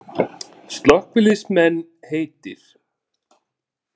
Slökkviliðsmenn heitir